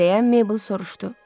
deyə Meybl soruşdu.